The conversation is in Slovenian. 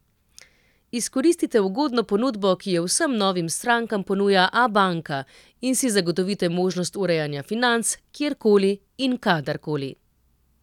Izkoristite ugodno ponudbo, ki jo vsem novim strankam ponuja Abanka, in si zagotovite možnost urejanja financ kjerkoli in kadarkoli.